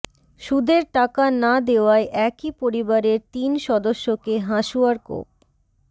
সুদের টাকা না দেওয়ায় একই পরিবারের তিন সদস্যকে হাঁসুয়ার কোপ